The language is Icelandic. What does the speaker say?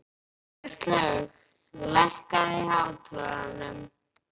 Kristlaug, lækkaðu í hátalaranum.